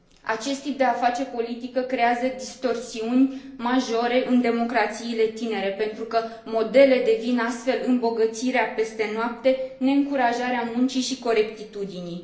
Acest tip de a face politică creează distorsiuni majore în democrațiile tinere, pentru că modele devin astfel îmbogățirea peste noapte, neîncurajarea muncii și corectitudinii.